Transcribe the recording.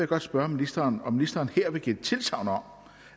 godt spørge ministeren om ministeren her vil give tilsagn om